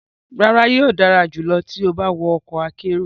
Rara, yoo dara julọ ti o ba wọ ọkọ akero